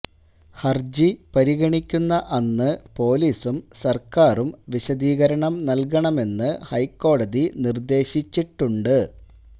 ഹരജി പരിഗണിക്കുന്ന അന്ന് പോലീസും സര്ക്കാരും വിശദീകരണം നല്കണമെന്ന് ഹൈക്കോടതി നിര്ദ്ദേശിച്ചിട്ടുണ്ട്